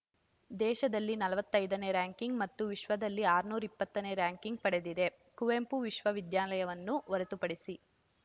ದೇಶದಲ್ಲಿ ನಲವತ್ತೈದನೇ ರಂಕಿಂಗ್ ಮತ್ತು ವಿಶ್ವದಲ್ಲಿ ಆರುನೂರ ಇಪ್ಪತ್ತನೇ ರಂಕಿಂಗ್ ಪಡೆದಿದೆ ಕುವೆಂಪು ವಿಶ್ವ ವಿದ್ಯಾಲಯ ವನ್ನು ಹೊರತುಪಡಿಸಿ